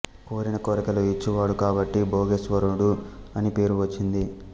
కోరిన కోర్కెలు ఇచ్చువాడు కాబట్టి భొగేశ్వరుడు అని పేరు వచ్చింది